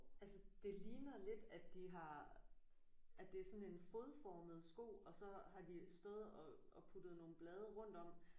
Altså det ligner lidt at de har at det er sådan en fodformet sko og så har de stået og og puttet nogle blade rundt om